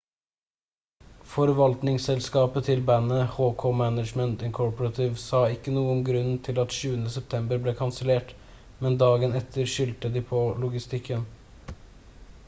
forvaltningsselskapet til bandet hk management inc sa ikke noe om grunnen til at 20. september ble kansellert men dagen etter skyldte de på logistikken